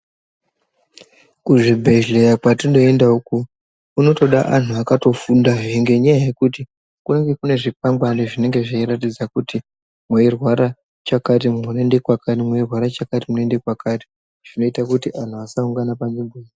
Kuzvibhedhlera kwatinoenda uku hunotoda antu akatofunfswo nenyaya yekuti kunenge kune zvingeangwari zvinenge zveiratidza kuti zveirwara chakati unoenda pakati unoita kuti antu asangana panzvimbo.